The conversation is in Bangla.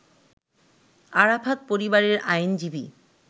আরাফাত পরিবারের আইনজীবী